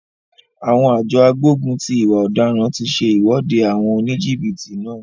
Àwọn àjọ agbógun ti ìwà ọ̀daràn ti se ìwọ́de àwọn oníjìbìtì náà.